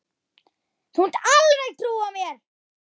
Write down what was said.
Þú mátt alveg trúa mér!